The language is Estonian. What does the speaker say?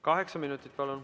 Kaheksa minutit kokku, palun.